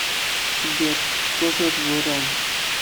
сбер кто живет в иран